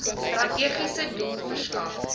strategiese doel verskaf